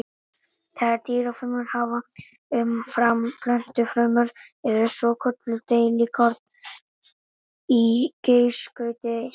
Það sem dýrafrumur hafa umfram plöntufrumur eru svokölluð deilikorn í geislaskauti sínu.